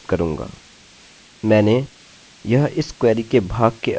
मैंने यह इस क्वेरी के भाग के अंदर जहाँ हम चुन रहे हैं नहीं दर्शाया है